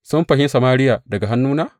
Sun fanshi Samariya daga hannuna?